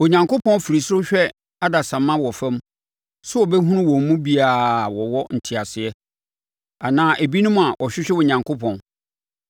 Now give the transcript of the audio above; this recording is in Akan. Onyankopɔn firi soro hwɛ adasamma wɔ fam sɛ ɔbɛhunu wɔn mu bi a wɔwɔ nteaseɛ, anaa ebinom a wɔhwehwɛ Onyankopɔn.